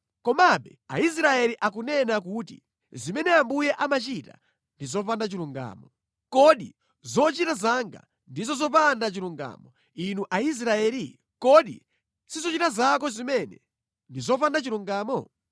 Komabe Aisraeli akunena kuti, ‘Zimene Ambuye amachita ndi zopanda chilungamo.’ Kodi zochita zanga ndizo zopanda chilungamo, inu Aisraeli? Kodi si zochita zanu zimene ndi zopanda chilungamo?